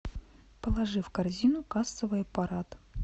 положи в корзину кассовый аппарат